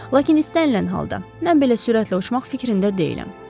Lakin istənilən halda, mən belə sürətlə uçmaq fikrində deyiləm.